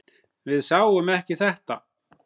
Við sáum ekki þetta!